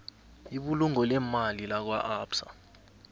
ibulungo leemali lakwaabsa